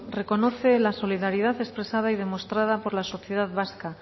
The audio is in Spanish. reconoce la solidaridad expresada y demostrada por la sociedad vasca